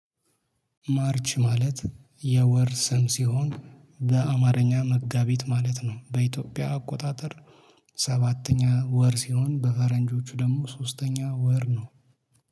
ማርች ማለት የወር ስም ሲሆን በአማርኛ መጋቢት ማለት ነው በኢትዮጵያ አቆጣጠር። ሰባተኛ ወር ሲሆን በፈረንጆቹ ደግሞ ሶስተኛ ወር ነው